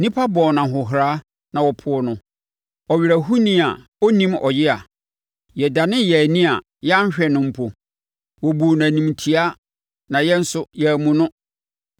Nnipa bɔɔ no ahohora na wɔpoo no, Ɔwerɛhoni a ɔnim ɔyea. Yɛdanee yɛn ani a yɛanhwɛ no mpo; wɔbuu no animtiaa na yɛn nso, yɛammu no.